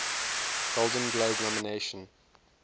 golden globe nomination